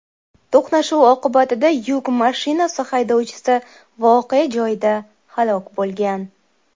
To‘qnashuv oqibatida yuk mashinasi haydovchisi voqea joyida halok bo‘lgan.